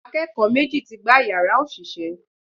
Akẹ́kọ̀ọ́ méjì ti gbá yàrá òṣìṣẹ́